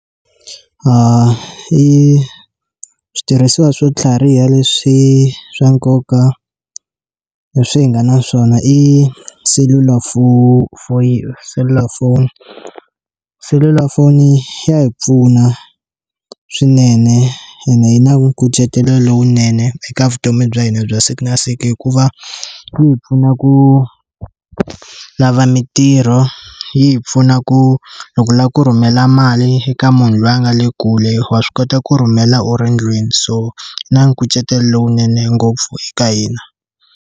switirhisiwa swo tlhariha leswi swa nkoka leswi hi nga na swona i selulafoni selulafoni, selulafoni ya hi pfuna swinene ene yi na nkucetelo lowunene eka vutomi bya hina bya siku na siku hikuva yi hi pfuna ku lava mitirho yi hi pfuna ku loko u lava ku rhumela mali eka munhu loyi a nga le kule wa swi kota ku rhumela u ri ndlwini so na nkucetelo lowunene ngopfu eka hina.